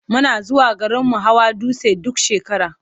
Muna zuwa garinmu hawa dutse duk shekara.